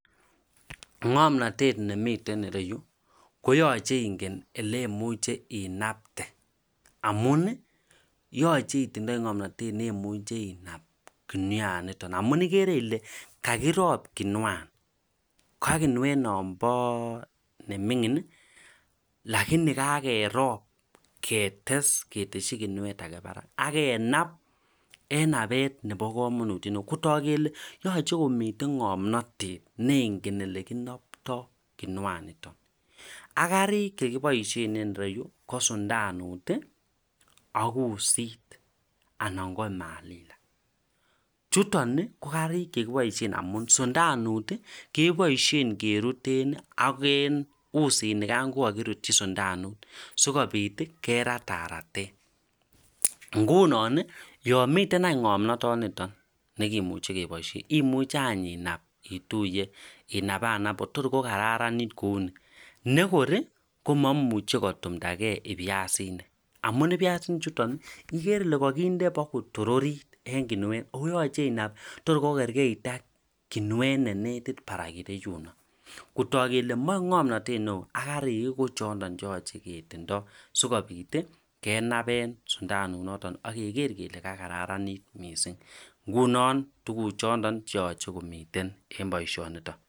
ngomnatet nemiten iro yu koyachei ingen oleimuch inapte amun yachei itinye inaia inap amu ikere ile akirop kuniet neming'in aketes alak kotok kole yachei komitei ngomnatet ak karik chekiboishen en ro yu ko sundanut ak usit ak manila chuton KO karik chekiboishen amu sundanut keboishe keruten ak usin nigan kokakirutyi sundanut sikobit kerat arat